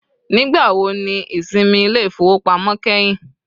Nigbawo ni isinmi ile-ifowopamọ kẹhin?